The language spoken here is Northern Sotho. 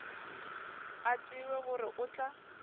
a tsebe gore o tla